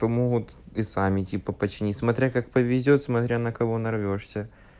то могут и сами типа починить смотря как повезёт смотря на кого нарвёшься